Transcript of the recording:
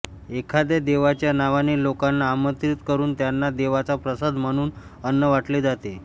एखाद्या देवाच्या नावाने लोकांना आमंत्रित करून त्यांना देवाचा प्रसाद म्हणून अन्न वाटले जाते